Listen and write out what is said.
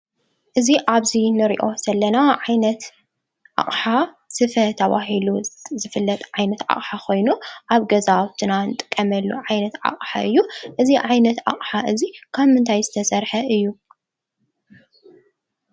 እዚ ኣብዚ ንሪኦ ዘለና ዓይነት ኣቕሓ ስፈ ተባሂሉ ዝፍለጥ ዓይነት ኣቕሓ ኾይኑ ኣብ ገዛውትና ንጥቀመሉ ዓይነት ኣቕሓ እዩ፡፡ እዚ ዓይነት ኣቕሓ እዚ ካብ ምንታይ ዝተሰርሐ እዩ?